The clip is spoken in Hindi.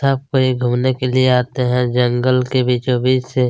यहाँ पर ये घूमने के लीए आते है जंगल के बिचो बीच से --